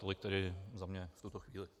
Tolik tedy za mne v tuto chvíli.